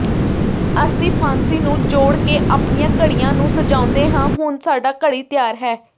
ਅਸੀਂ ਫਾਂਸੀ ਨੂੰ ਜੋੜ ਕੇ ਆਪਣੀਆਂ ਘੜੀਆਂ ਨੂੰ ਸਜਾਉਂਦੇ ਹਾਂ ਹੁਣ ਸਾਡਾ ਘੜੀ ਤਿਆਰ ਹੈ